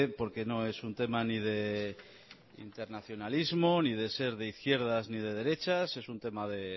no es un tema ni de internacionalismo ni de ser de izquierdas ni de derechas es un tema de